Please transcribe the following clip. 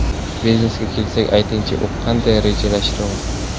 Biznesga kelsak, aytingchi, u qanday rivojlanmoqda?